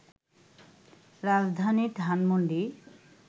রাজধানী ধানমণ্ডি